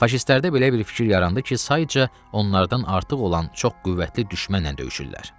Faşistlərdə belə bir fikir yarandı ki, sayca onlardan artıq olan çox qüvvətli düşmənlə döyüşürlər.